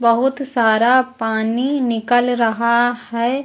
बहुत सारा पानी निकल रहा है।